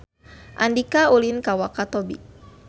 Andika ulin ka Wakatobi